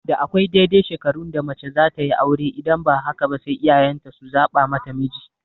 Da akwai daidai shekarun da mace zatayi aure idan ba haka ba sai iyayen ta su zaɓa mata miji